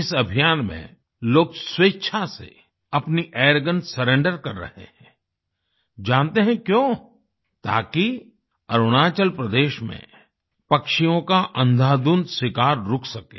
इस अभियान में लोग स्वेच्छा से अपनी एयरगन सरेंडर कर रहे हैं जानते हैं क्यों ताकि अरुणाचल प्रदेश में पक्षियों का अंधाधुंध शिकार रुक सके